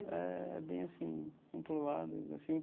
É bem assim, um para um lado assim.